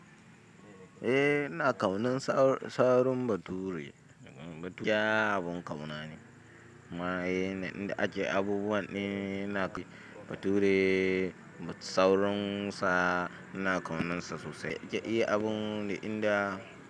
Eh ina ƙaunan sauron bature. Bature abun ƙauna ne. Ma eh inda ake abubuwa ne, ina kai bature sauronsa ina kaunansa sosai. Yake eh abun duk inda.